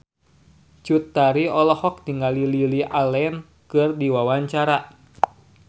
Cut Tari olohok ningali Lily Allen keur diwawancara